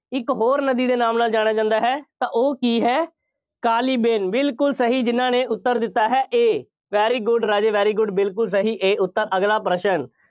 ਇਕ ਹੋਰ ਨਦੀ ਦੇ ਨਾਮ ਨਾਲ ਜਾਣਿਆ ਜਾਂਦਾ ਹੈ। ਤਾਂ ਉਹ ਕੀ ਹੈ। ਕਾਲੀ ਬੇਨ, ਬਿਲਕੁੱਲ ਸਹੀ ਜਿੰਨ੍ਹਾ ਨੇ ਉੱਤਰ ਦਿੱਤਾ ਹੈ A very good Raje very good ਬਿਲਕੁੱਲ ਸਹੀ A ਉੱਤਰ, ਅਗਲਾ ਪ੍ਰਸ਼ਨ,